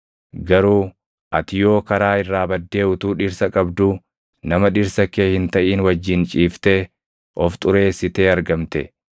Garuu ati yoo karaa irraa baddee utuu dhirsa qabduu nama dhirsa kee hin taʼin wajjin ciiftee of xureessitee argamte;”